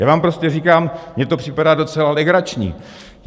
Já vám prostě říkám, mně to připadá docela legrační.